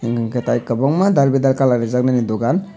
enke tai kwbangma Dal bedal kalar reejak bini dogan.